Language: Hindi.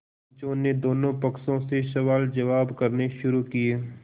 पंचों ने दोनों पक्षों से सवालजवाब करने शुरू किये